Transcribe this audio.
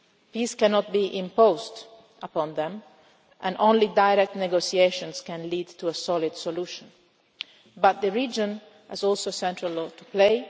leaders. Peace cannot be imposed upon them and only direct negotiations can lead to a solid solution, but the region also has a central